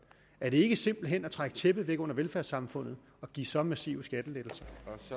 er det ikke simpelt hen at trække tæppet væk under velfærdssamfundet at give så massive skattelettelser